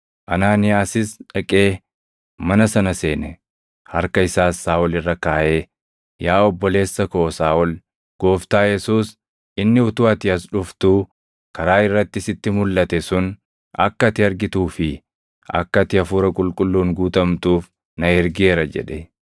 Anaaniyaasis dhaqee mana sana seene. Harka isaas Saaʼol irra kaaʼee, “Yaa obboleessa koo Saaʼol, Gooftaa Yesuus inni utuu ati as dhuftuu karaa irratti sitti mulʼate sun akka ati argituu fi akka ati Hafuura Qulqulluun guutamtuuf na ergeera” jedhe.